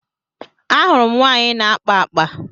A hụrụ m nwaanyị na-akpa akpa.